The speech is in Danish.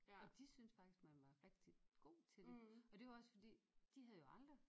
Og de synes faktisk man var rigtig godt til det og det var også fordi de havde jo aldrig